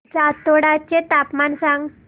जातोडा चे तापमान सांग